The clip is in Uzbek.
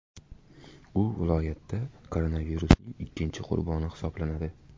U viloyatda koronavirusning ikkinchi qurboni hisoblanadi.